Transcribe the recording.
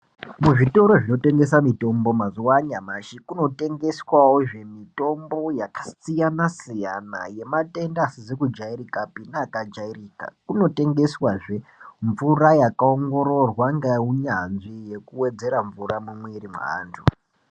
Muzvitoro zvinotengesa mitombo mazuwa anyamashi kunotengeswa wo zve mitombo yakasiyana siyana yematenda asizi kujairikapi neaka jairika. Kunotengeswa zvemvura yakaongororwa ngeunyanzvi yekuwedzera mvura mumumwiri mweantu.